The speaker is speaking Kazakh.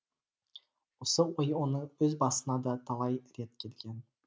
осы ой оның өз басына да талай рет келген